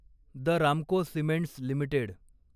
the Ramco cements limited